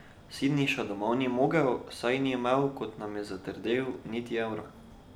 Siniša domov ni mogel, saj ni imel, kot nam je zatrdil, niti evra.